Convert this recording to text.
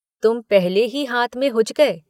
तुम पहले ही हाथ में हुच गए।।